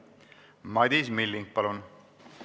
Madis Milling, palun!